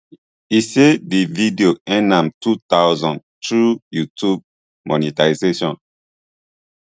e say di video earn am two thousand through youtube monetisation